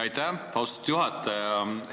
Aitäh, austatud juhataja!